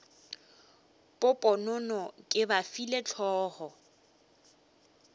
poponono ke ba file hlogo